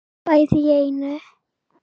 Bæði í einu.